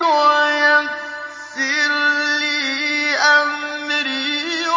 وَيَسِّرْ لِي أَمْرِي